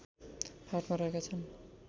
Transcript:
फाँटमा रहेका छन्